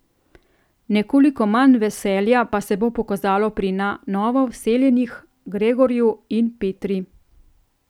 Nekoliko manj veselja pa se bo pokazalo pri na novo vseljenih Gregorju in Petri.